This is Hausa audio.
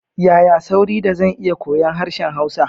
Yaya sauri da zan iya koyon harshen Hausa?